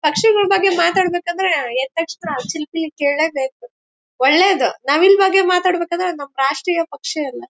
ಪಕ್ಷಿಗಳ ಬಗ್ಗೆ ಮಾತ್ತಾಡಬೇಕಂದ್ರೆ ಎದ್ದ ತಕ್ಷಣ ಚಿಲಿ ಪಿಲಿ ಕೇಳೆಬೇಕು ಒಳ್ಳೇದ್ ನವಿಲ್ ಬಗ್ಗೆ ಮಾತಾಡಬೇಕಂದ್ರೆ ಅದು ನಮ್ಮ ರಾಷ್ಟೀಯ ಪಕ್ಷಿ ಅಲ್ಲಾ.